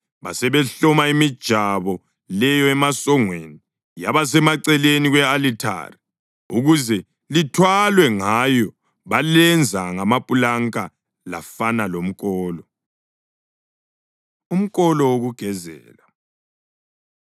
Basebehloma imijabo leyo emasongweni yaba semaceleni kwe-alithari ukuze lithwalwe ngayo. Balenza ngamapulanka lafana lomkolo. Umkolo Wokugezela